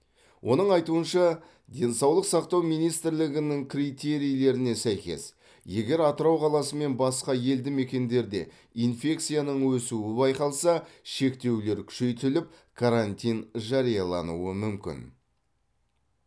оның айтуынша денсаулық сақтау министрлігінің критерийлеріне сәйкес егер атырау қаласы мен басқа елді мекендерде инфекцияның өсуі байқалса шектеулер күшейтіліп карантин жариялануы мүмкін